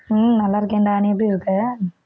உம் நல்லா இருக்கேன்டா, நீ எப்படி இருக்க?